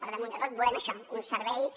per damunt de tot volem això un servei